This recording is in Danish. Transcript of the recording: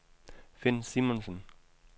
Finn Simonsen